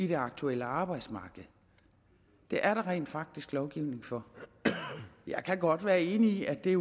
det aktuelle arbejdsmarked det er der rent faktisk lovgivning for jeg kan godt være enig i at det